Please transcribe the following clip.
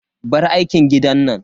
Bar aikin gidan nan.